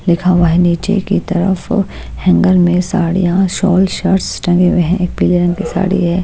लिखा हुआ हैनीचे की तरफ हैंगर में साड़ियाँशॉल शर्ट्स टंगे हुए हैंएक पीले रंग की साड़ी है।